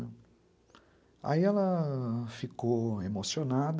Aí ela... ficou emocionada,